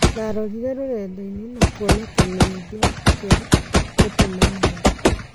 Ndarorire rũrendainĩ na kũona kĩmenyithia kĩa gũtumanira ka